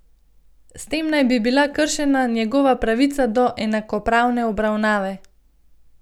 S tem naj bi bila kršena njegova pravica do enakopravne obravnave.